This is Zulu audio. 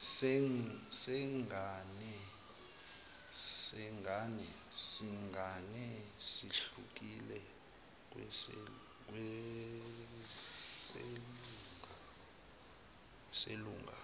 sengane sihlukile kweselunga